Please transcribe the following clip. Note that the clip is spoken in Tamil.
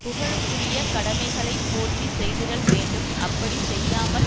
புகழுக்குரிய கடமைகளைப் போற்றி செய்திடல் வேண்டும் அப்படி செய்யாமல்